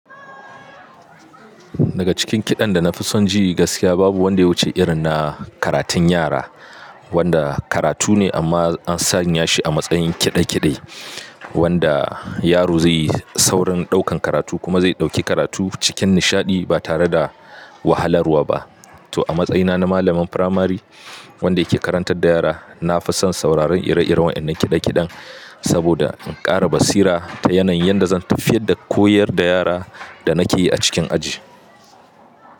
Daga cikin kiɗan da na fi son ji gaskiya babu wanda yawuce irin na karatun yara wanda karatu ne amma an sanya shi a matsayin kiɗe kiɗe wanda yaro zai yi saurin ɗaukan karatu kuma zai ɗauki karatu cikin nishaɗi ba tare da wahalarwa ba. To a matsayina na malamin firamare wanda ke karantar da yara na fi son sauraron ire-iren wa'inan kiɗe-kiɗen saboda in ƙara basira ta yanayin yadda zan tafiyar da koyar da yara da nake yi a cikin aji.